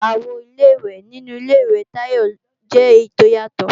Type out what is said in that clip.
Àwo Ilé-ìwẹ̀ inu Ilé-ìwẹ̀ Tayọ jẹ́ èyí tó yàtọ̀